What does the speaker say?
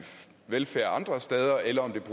velfærd